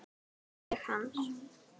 Og ég hans.